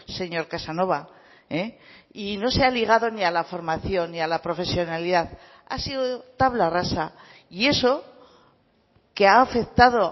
señor casanova y no se ha obligado ni a la formación ni a la profesionalidad ha sido tabla rasa y eso que ha afectado